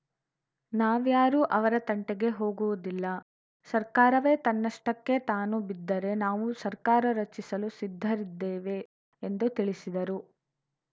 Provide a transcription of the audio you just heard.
ನಾವ್ಯಾರೂ ಅವರ ತಂಟೆಗೆ ಹೋಗುವುದಿಲ್ಲ ಸರ್ಕಾರವೇ ತನ್ನಷ್ಟಕ್ಕೆ ತಾನು ಬಿದ್ದರೆ ನಾವು ಸರ್ಕಾರ ರಚಿಸಲು ಸಿದ್ಧರಿದ್ದೇವೆ ಎಂದು ತಿಳಿಸಿದರು